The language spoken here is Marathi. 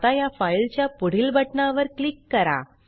आता या फाइल च्या पुढील बटना वर क्लिक करा